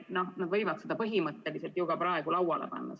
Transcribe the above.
Noh, nad võivad selle põhimõtteliselt ju praegu lauale panna.